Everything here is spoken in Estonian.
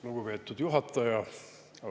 Lugupeetud juhataja!